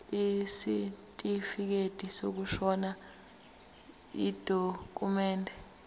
isitifikedi sokushona yidokhumende